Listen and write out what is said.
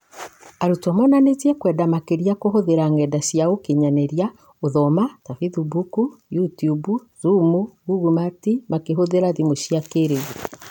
Arutwo monanirie kwenda makĩria kũhũthĩra ng'enda cia ũkinyanĩria gũthoma ta Bĩthimbuk na Yutiub, Zuum, Ngugu Mit makĩhũthĩra thimũ cia kĩrĩu.